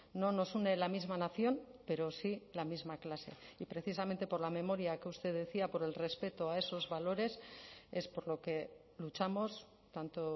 no nos une la misma nación pero sí la misma clase y precisamente por la memoria que usted decía por el respeto a esos valores es por lo que luchamos tanto